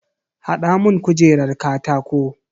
Hada mun kujerar katako.